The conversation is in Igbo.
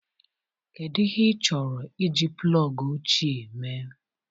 Kedu ihe ị chọrọ iji plọg ochie mee?